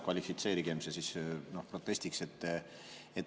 Kvalifitseerigem see siis protestiks.